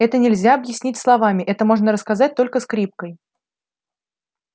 это нельзя объяснить словами это можно рассказать только скрипкой